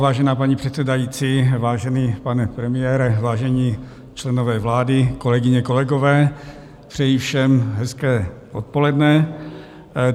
Vážená paní předsedající, vážený pane premiére, vážení členové vlády, kolegyně, kolegové, přeji všem hezké odpoledne.